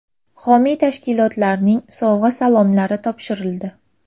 Homiy tashkilotlarning sovg‘a-salomlari topshirildi.